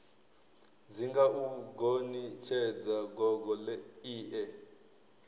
dzinga u gonitshedza gogo ie